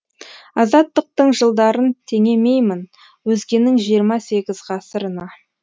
азаттықтың жылдарын теңемеймін өзгенің жиырма сегіз ғасырына